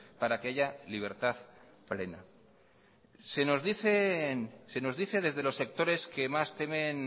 para que haya libertad plena se nos dice desde los sectores que más temen